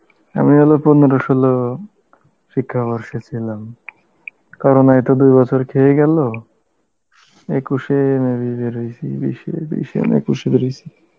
আমি হলো পনেরো ষোলো শিক্ষা বর্ষে ছিলাম. corona এ তো দু-বছর খেয়েই গেল, একুশে maybe বের হয়েসী বিশে, বিশে না একুশে বের হয়েসী